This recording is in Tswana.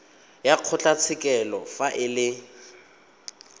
wa kgotlatshekelo fa e le